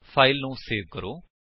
file save ਕਰੋ